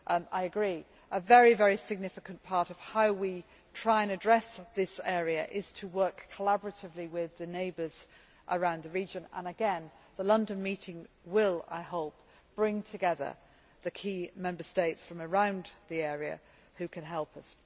I agree a very significant part of how we try and address this area is to work collaboratively with the neighbours around the region and again the London meeting will, I hope, bring together the key Member States from around the area who can help us.